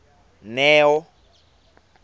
neo